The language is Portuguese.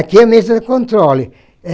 Aqui é a mesa de controle.